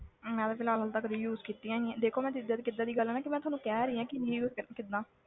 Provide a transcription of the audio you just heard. ਮੈਂ ਤਾਂ ਫਿਲਹਾਲ ਹਾਲੇ ਤਾਂ ਕਦੇ use ਕੀਤੀਆਂ ਨੀ ਆਂ ਦੇਖੋ ਨਾ ਜਿੱਦਾਂ ਦੀ ਕਿੱਦਾਂ ਦੀ ਗੱਲ ਹੈ ਨਾ ਕਿ ਮੈਂ ਥੋਨੂੰ ਕਹਿ ਰਹੀ ਹਾਂ ਕਿ reuse ਕਿੱਦਾਂ